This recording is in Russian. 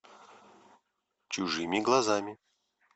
чужими глазами